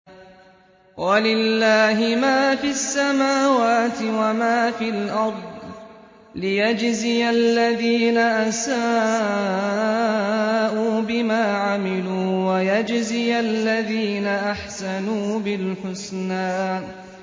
وَلِلَّهِ مَا فِي السَّمَاوَاتِ وَمَا فِي الْأَرْضِ لِيَجْزِيَ الَّذِينَ أَسَاءُوا بِمَا عَمِلُوا وَيَجْزِيَ الَّذِينَ أَحْسَنُوا بِالْحُسْنَى